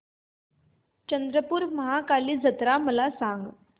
चंद्रपूर महाकाली जत्रा मला सांग